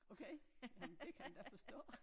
Okay nå men det kan man da forstå